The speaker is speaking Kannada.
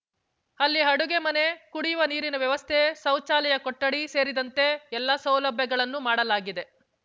ಅಲ್ಲಿ ಅಡುಗೆ ಮನೆ ಕುಡಿಯುವ ನೀರಿನ ವ್ಯವಸ್ಥೆ ಶೌಚಾಲಯ ಕೊಠಡಿ ಸೇರಿದಂತೆ ಎಲ್ಲ ಸೌಲಭ್ಯಗಳನ್ನು ಮಾಡಲಾಗಿದೆ